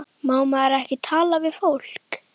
Má maður ekki tala við fólk?